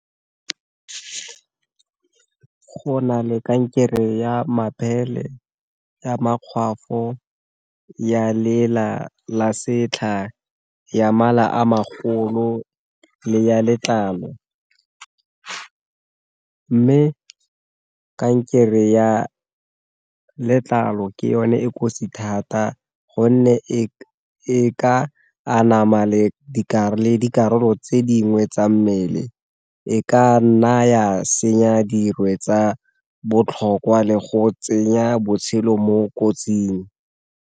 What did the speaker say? Go na le kankere ya mabele, ya makgwafo, ya lela, la setlha, ya mala a makgolo, le ya letlalo, mme kankere ya letlalo ke yone e kotsi thata gonne e ka anama le dikarolo tse dingwe tsa mmele e ka naya senya dirwe tsa botlhokwa le go tsenya botshelo mo kotsing.